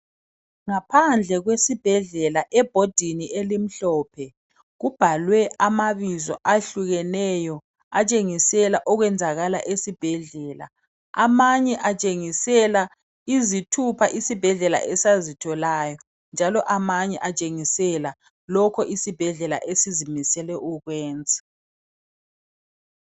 Ngaphandle wesibhedlela ebhodini elimhlophe kubhalwe amabizo ahlukeneyo atshengisela okwenzakala esibhedlela amanye atshengisela izithupha isibhedlela esazitholayo, njalo amanye atshengisela lokho isibhedlela esizimisele ukukwenza.